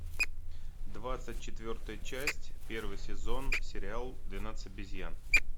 двадцать четвертая часть первый сезон сериал двенадцать обезьян